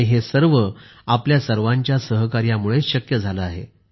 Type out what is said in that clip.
आणि हे सर्व आपल्या सर्वांच्या सहकार्यामुळेच शक्य झाले आहे